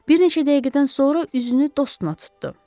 Bir neçə dəqiqədən sonra üzünü dostuna tutdu: